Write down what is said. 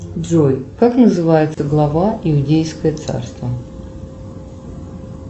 джой как называется глава иудейское царство